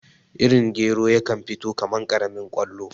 Irin gero yakan fito kaman karamin kwallo